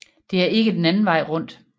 Det er ikke den anden vej rundt